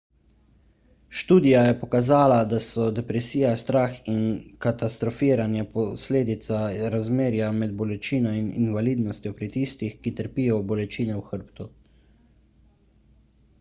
študija je pokazala da so depresija strah in katastrofiranje posledica razmerja med bolečino in invalidnostjo pri tistih ki trpijo bolečine v hrbtu